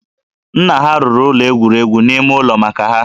Nna ha rụrụ ụlọ egwuregwu n'ime ụlọ maka ha